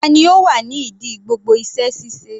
Tani ó wà ní ìdí gbogbo iṣẹ́ ṣíṣe?